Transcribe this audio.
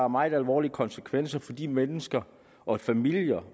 meget alvorlige konsekvenser for de mennesker og familier